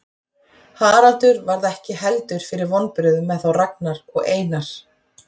Haraldur varð ekki heldur fyrir vonbrigðum með þá Ragnar og Einar.